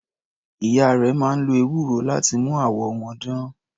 Ìyá rẹ̀ máa ń lo ewúro láti mú àwọ̀ wọn dán.